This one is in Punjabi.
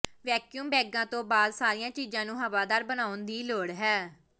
ਵੈਕਿਊਮ ਬੈਗਾਂ ਤੋਂ ਬਾਅਦ ਸਾਰੀਆਂ ਚੀਜ਼ਾਂ ਨੂੰ ਹਵਾਦਾਰ ਬਣਾਉਣ ਦੀ ਲੋੜ ਹੈ